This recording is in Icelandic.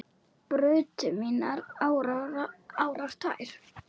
brutu mínar árar tvær